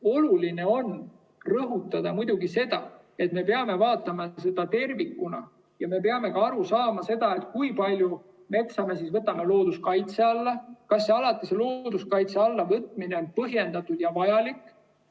Oluline on rõhutada muidugi seda, et me peame vaatama seda tervikuna ja me peame aru saama, kui palju metsa me võtame looduskaitse alla ning kas alati see looduskaitse alla võtmine on põhjendatud ja vajalik.